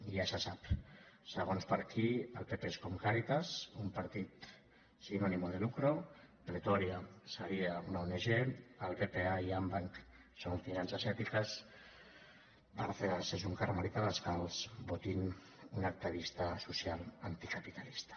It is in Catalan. ja se sap segons per a qui el pp és com càritas un partit sin ánimo de lucro pretòria seria una ong el bpa i andbanc són finances ètiques bárcenas és un carmelita descalç botín un activista social anticapitalista